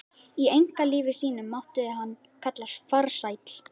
Í einkalífi sínu mátti hann kallast farsæll.